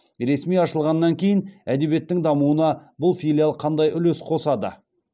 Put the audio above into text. ресми ашылғаннан кейін әдебиеттің дамуына бұл филиал қандай үлес қосады